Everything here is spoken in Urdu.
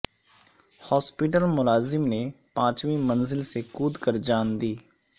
ہاسپٹل ملازم نے پانچویں منزل سے کھود کرجان دی